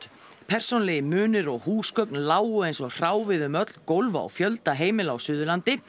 persónulegir munir og húsgögn lágu eins og hráviði um öll gólf á fjölda heimila á Suðurlandi